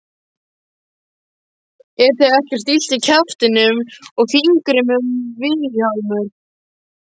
Er þér ekkert illt í kjaftinum og fingrinum Vilhjálmur?